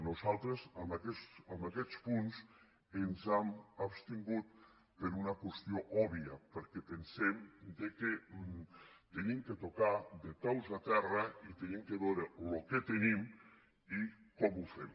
nosaltres en aquests punts ens hem abstingut per una qüestió òbvia perquè pen·sem que hem de tocar de peus a terra i hem de veure el que tenim i com ho fem